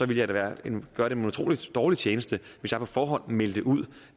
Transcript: jeg da gøre dem en utrolig dårlig tjeneste hvis jeg på forhånd meldte ud